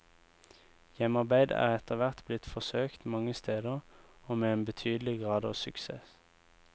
Hjemmearbeid er etter hvert blitt forsøkt mange steder, og med en betydelig grad av suksess.